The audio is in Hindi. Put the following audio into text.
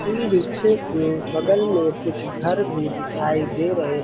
ई रिक्शे के बगल मे कुछ घर भी दिखाई दे रहे --